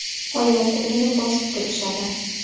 Oyoq-qo‘lini bosib turishadi.